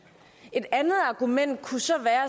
et andet argument kunne så være